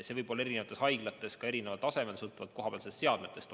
See võib olla eri haiglates ka erineval tasemel, sõltuvalt kohapealsetest seadmetest.